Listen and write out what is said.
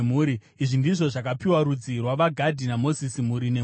Izvi ndizvo zvakapiwa rudzi rwavaGadhi naMozisi, mhuri nemhuri: